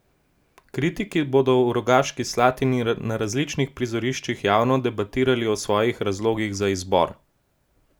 Kritiki bodo v Rogaški Slatini na različnih prizoriščih javno debatirali o svojih razlogih za izbor.